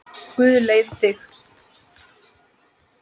Guð leiði þig.